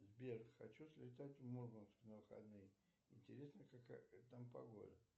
сбер хочу слетать в мурманск на выходные интересно какая там погода